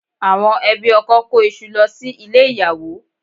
Àwọn ẹbí ọkọ kó iṣu lọ sí ilé ìyàwó